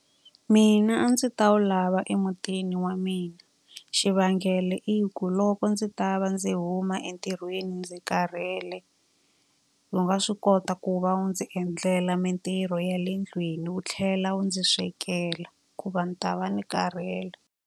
Mina a ndzi ta wu lava emutini wa mina, xivangelo i ku loko ndzi ta va ndzi huma entirhweni ndzi karhele, wu nga swi kota ku va wu ndzi endlela mintirho ya le ndlwini wu tlhela wu ndzi swekela. Hikuva ni ta va ni karhele.